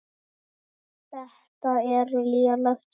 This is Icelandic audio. Þetta er lélegt samband